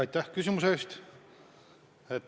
Aitäh küsimuse eest!